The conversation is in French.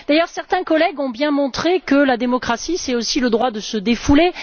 D'ailleurs, certains collègues ont bien montré que la démocratie, c'est aussi le droit de se défouler.